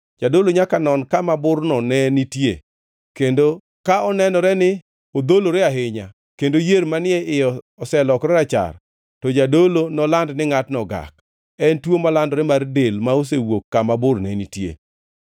Jadolo nyaka non kama burno ne nitie kendo ka onenore ni odholore ahinya kendo yier manie iye oselokore rachar, to jadolo noland ni ngʼatno ogak. En tuo malandore mar del ma osewuok kama bur ne netie.